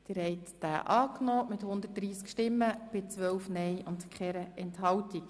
Der Grosse Rat hat den Antrag Regierungsrat und SiK angenommen.